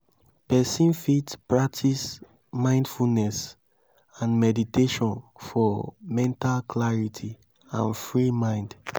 person fit practice mindfulness and meditation for mental clarity and free mind